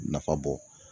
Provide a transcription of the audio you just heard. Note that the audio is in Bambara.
Nafa bɔ